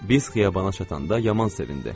Biz xiyabana çatanda yaman sevindi.